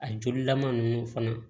A jolilama ninnu fana